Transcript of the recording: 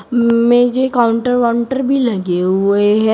मेज है काउंटर वाउंटर भी लगे हुए है।